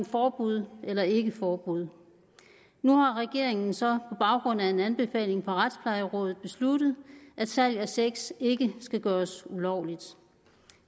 forbud eller ikke forbud nu har regeringen så baggrund af en anbefaling fra retsplejerådet besluttet at salg af sex ikke skal gøres ulovligt